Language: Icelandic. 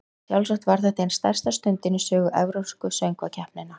Sjálfsagt var þetta ein stærsta stundin í sögu Evrópsku söngvakeppninnar.